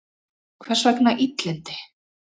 Hvers vegna illindi?